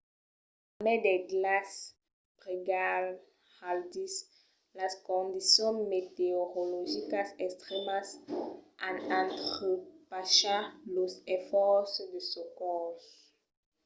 a mai del glaç brigalhadís las condicions meteorologicas extrèmas an entrepachat los esfòrces de socors